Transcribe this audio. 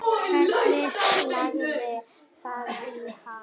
Hvernig lagðist það í hana?